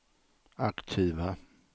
aktiva